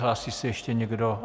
Hlásí se ještě někdo?